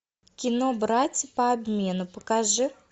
кино братья по обмену покажи